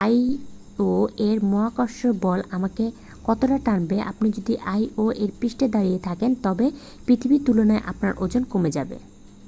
আইও-এর মহাকর্ষ বল আমাকে কতটা টানবে আপনি যদি আইও-এর পৃষ্ঠে দাঁড়িয়ে থাকেন তবে পৃথিবীর তুলনায় আপনার ওজন কমে যাবে